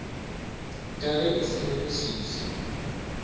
ka ge e sa leleswiswi